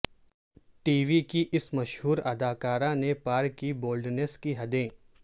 T V کی اس مشہور اداکارہ نے پار کی بولڈنیس کی حدیں